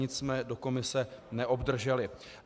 Nic jsme do komise neobdrželi.